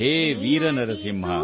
ಹೇ ವೀರ ನರಸಿಂಹ